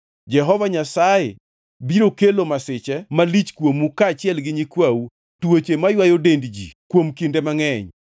Jehova Nyasaye biro kelo masiche malich kuomu kaachiel gi nyikwau, tuoche maywayo dend ji kuom kinde mangʼeny.